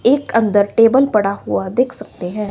एक अंदर टेबल पड़ा हुआ देख सकते हैं।